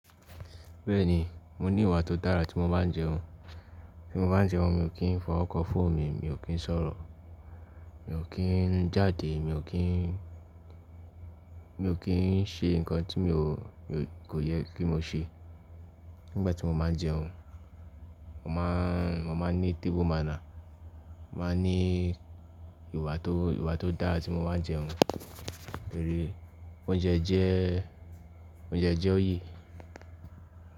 Bẹ́ẹ̀ni, mo ní ìwà tó dára tí mo bá ń jẹun. Tí mo bá ń jẹun, mi ò kí ń fọwọ́ kan fòonu mi, mi ò kí ń sọ̀rọ̀, mi ò kí ń jáde, mi ò kí ń, mi ò kí ń ṣe nǹkan tí mi ò, mi kò yẹ kí mo ṣe nígbà tí mo máa ń jẹun. Mo máa, mo máa ní table maná, mo màá ní ìwà tó, ìwà tó dára tí mo bá ń jẹun. Torí oúnjẹ jẹ́, oúnjẹ jẹ́ oye.